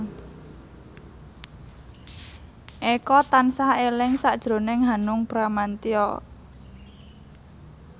Eko tansah eling sakjroning Hanung Bramantyo